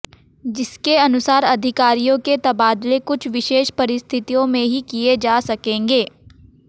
जिसके अनुसार अधिकारियों के तबादले कुछ विशेष परिस्थितियों में ही किए जा सकेंगे